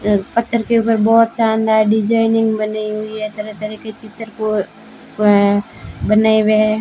पत्थर के ऊपर बहोत शानदार डिजाइनिंग बनी हुई है तरह तरह के चित्र अ बनाएं हुए हैं।